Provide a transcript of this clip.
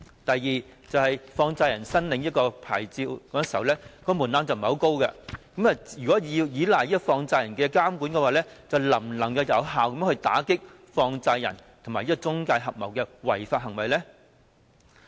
第二，放債人申領牌照時，門檻並不太高，如果要依賴放債人監管，能否有效打擊放債人和中介公司合謀的違法行為呢？